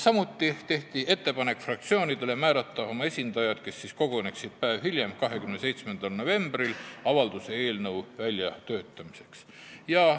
Samuti tehti fraktsioonidele ettepanek määrata oma esindajad, kes koguneksid päev hiljem, 27. novembril avalduse eelnõu väljatöötamiseks.